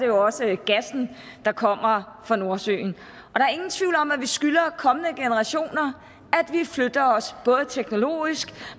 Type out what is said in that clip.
jo også gassen der kommer fra nordsøen og om at vi skylder kommende generationer at vi flytter os både teknologisk